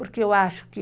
Porque eu acho que